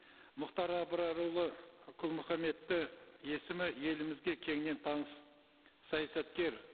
мұхтар абрарұлы құл мұхаммедті есімі елімізге кеңінен таныс саясаткер